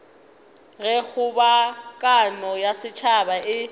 ge kgobokano ya setšhaba e